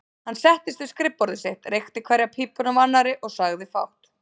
Hann settist við skrifborð sitt, reykti hverja pípuna af annarri og sagði fátt.